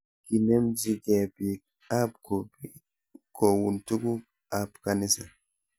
Kinemchi ke bik ab grupi koun tuguk ab kanisa